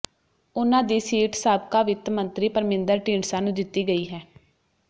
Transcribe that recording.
ਉਨ੍ਹਾਂ ਦੀ ਸੀਟ ਸਾਬਕਾ ਵਿੱਤ ਮੰਤਰੀ ਪਰਮਿੰਦਰ ਢੀਂਡਸਾ ਨੂੰ ਦਿੱਤੀ ਗਈ ਹੈ